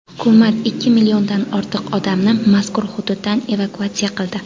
Hukumat ikki milliondan ortiq odamni mazkur hududdan evakuatsiya qildi.